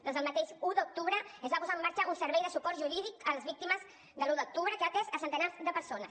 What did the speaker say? des del mateix un d’octubre es va posar en marxa un servei de suport jurídic a les víctimes de l’un d’octubre que ha atès a centenars de persones